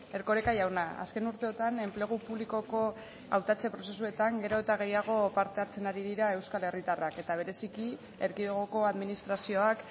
erkoreka jauna azken urteotan enplegu publikoko hautatzen prozesuetan gero eta gehiago parte hartzen ari dira euskal herritarrak eta bereziki erkidegoko administrazioak